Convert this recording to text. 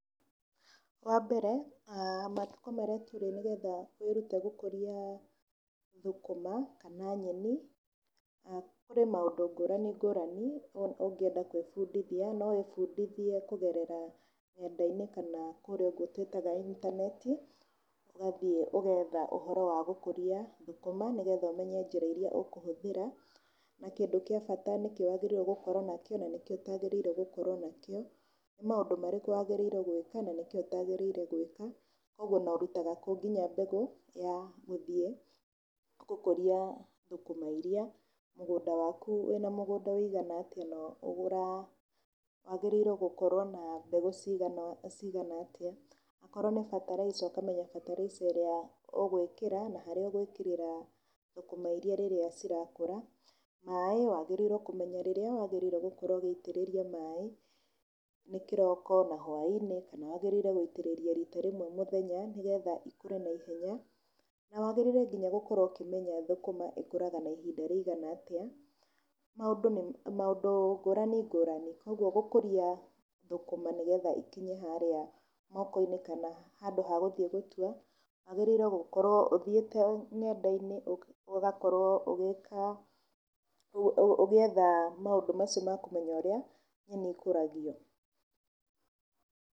Wa mbere matukũ marĩa tũrĩ nĩ getha wĩrute gũkũria thũkũma kana nyeni, harĩ maũndũ ngũrani ngũrani ũngĩenda kwĩbundithia, no wĩbundithie kũgerera nenda-inĩ kana kũria ũguo twĩtaga intaneti ũgathiĩ ũgetha ũhoro wa gũkũria thukũma nĩ getha ũmenye njĩra iria ũkũhũthĩra na kĩndũ kĩa bata nĩkĩĩ wagĩrĩire gũkorwo nakĩo na nĩ kĩĩ ũtagĩrĩirwo gũkorwo nakĩo. Nĩ maũndũ marĩkũ wagĩrĩirwo gwĩka na nĩ kĩĩ ũtagĩrĩire gwĩka na ũrutaga kũ nginya mbegũ ya gũthiĩ gũkũria thũkũma iria mũgũnda waku wĩna mũgũnda wigana atĩa na wagĩrĩire gũkorwo na mbegũ cigana atĩa. Akorwo nĩ bataraica ũkamenya bataraica ĩrĩa ũgwĩkĩra na harĩa ũgwĩkĩrĩra thũkũmairia rirĩa cirakũra. Maaĩ wagĩrĩirwo kũmenya hĩndĩ ĩrĩa ũgũitĩriria maaĩ nĩ kĩroko na hwai-inĩ kana wagĩrĩirwo gũitĩrĩria rita rĩmwe mũthenya nĩ getha ikũre na ihenya. Na wagĩrĩirwo nginya gũkorwo ũkimenya thũkuma ĩkũraga na ihinda rĩigana atĩa maũndũ ngũrani ngũrani. Koguo gũkũria thũkũma nĩ getha ikinye harĩa mokono-inĩ kana handũ ha gũthiĩ gũtiua wagĩrĩire gũkorwo ũthjiĩte nenda-inĩ ũgakorwo ũgĩetha maũndũ macio ma kũmenya ũrĩa nyeni icio ikũragio.